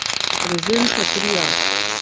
Prezenca tria.